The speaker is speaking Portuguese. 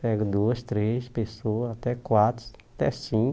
Pego duas, três pessoas, até quatro, até cinco.